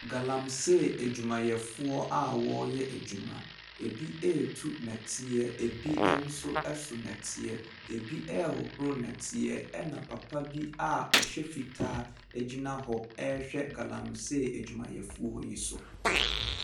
Galamsey edwumayɛfoɔ a wɔɔyɛ edwuma. Ebi eetu nɛteɛ, ebi ɛnso ɛso nɛteɛ, ebi ɛhohoro nɛteɛ ɛna papabi a ɔhyɛ fitaa egyina hɔ ɛɛhwɛ galamsey edwumayɛfoɔ yi so.